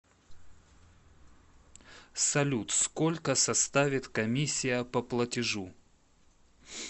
салют сколько составит комиссия по платежу